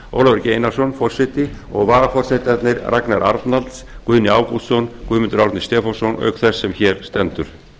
ólafur g einarsson forseti og varaforsetarnir ragnar arnalds guðni ágústsson guðmundur árni stefánsson auk þess sem hér stendur